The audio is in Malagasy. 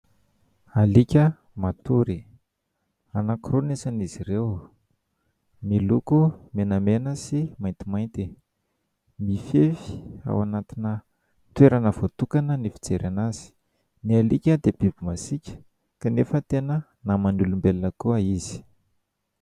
Alika matory : anankiroa ny isan'izy ireo, miloko menamena sy maintimainty, mifefy ao anatina toerana voatokana ny fijerena azy. Ny alika dia biby masiaka kanefa tena namany olombelona koa izy.